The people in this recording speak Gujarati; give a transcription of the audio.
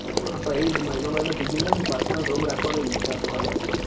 પછી મહિનો મહિનો PG માં રઈન personal room રાખવાની ઈચ્છા તો હ લ્યા